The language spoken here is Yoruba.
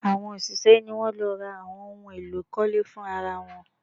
Àwọn òṣìṣẹ́ ni wọ́n lọ ra àwọn ohun èlò ìkọ́lé fún ra wọn